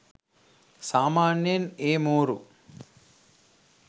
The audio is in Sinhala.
සාමාන්‍යයෙන් ඒ මෝරු